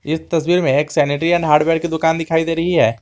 इस तस्वीर मे एक सेनेट्री एण्ड हार्डवेयर की दुकान दिखाई दे रही है।